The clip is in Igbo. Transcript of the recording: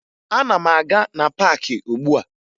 Ana m aga na paakị ugbua